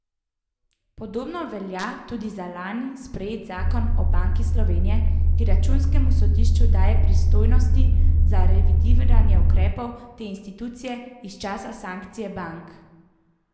Podobno velja tudi za lani sprejet zakon o Banki Slovenije, ki računskemu sodišču daje pristojnosti za revidiranje ukrepov te institucije iz časa sanacije bank.